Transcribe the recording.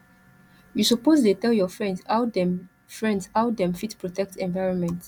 you suppose dey tell your friends how dem friends how dem fit protect environment